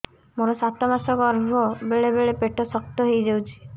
ମୋର ସାତ ମାସ ଗର୍ଭ ବେଳେ ବେଳେ ପେଟ ଶକ୍ତ ହେଇଯାଉଛି